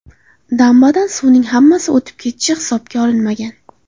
Dambadan suvning hammasi o‘tib ketishi hisobga olinmagan.